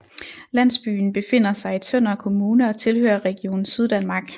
Landsbyen befinder sig i Tønder Kommune og tilhører Region Syddanmark